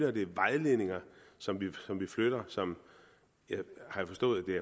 og det er vejledninger som vi flytter som jeg har forstået